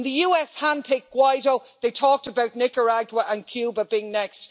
When the US handpicked Guaidó they talked about Nicaragua and Cuba being next.